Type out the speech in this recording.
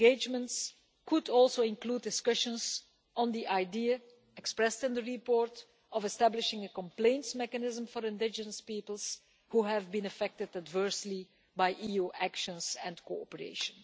Such engagement could include discussions on the idea expressed in the report of establishing a complaints mechanism for indigenous peoples who have been affected adversely by EU action and cooperation.